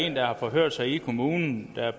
en der har forhørt sig i kommunen